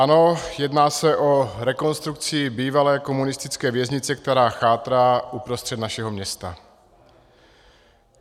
Ano, jedná se o rekonstrukci bývalé komunistické věznice, která chátrá uprostřed našeho města.